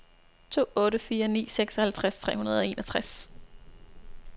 to otte fire ni seksoghalvtreds tre hundrede og enogtres